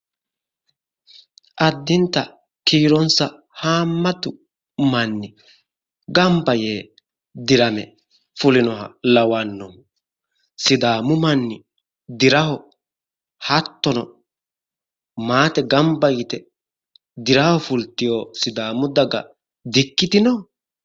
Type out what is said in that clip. Addinta kiironsa haammatu manni gamba yee dirame fulinoha lawanno. Sidaamu manni diraho hattono maate gamba yite diraho fultiwo sidaamu daga diikkitino?